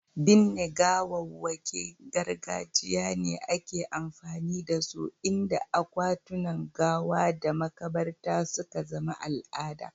Binne gawawwakin gargajiya ne ake amfani da su, inda akwatunan gawa da makabarta suka zama al'ada.